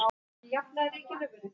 Jú, oft.